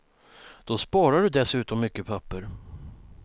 Då sparar du dessutom mycket papper.